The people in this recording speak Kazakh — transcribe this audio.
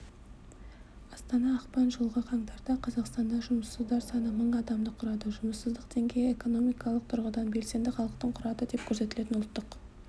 астана ақпан жылғы қаңтарда қазақстанда жұмыссыздар саны мың адамды құрады жұмыссыздық деңгейі экономикалық тұрғыдан белсенді халықтың құрады деп көрсетілген ұлттық